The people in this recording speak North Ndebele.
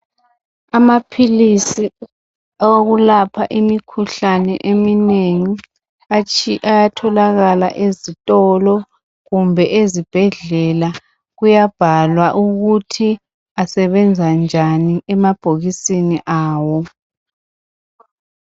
Amaphilisi awokulapha imikhuhlane eminengi ayatholakala ezitolo kumbe ezibhedlela kuyabhalwa ukuthi asebenza njani emabhokisini awo